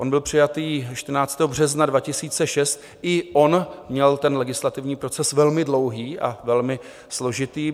On byl přijat 14. března 2006, i on měl ten legislativní proces velmi dlouhý a velmi složitý.